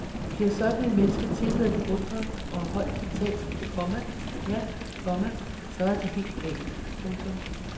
Bliver sådan et menneske tilmed beundret og højt betalt, komma ja, komma så er den helt gal. punktum